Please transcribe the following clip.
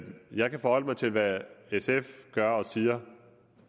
jeg kan forholde mig til hvad sf gør og siger